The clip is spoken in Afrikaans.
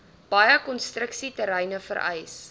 baie konstruksieterreine vereis